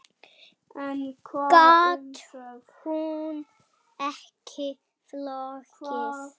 Gat hún ekki flogið?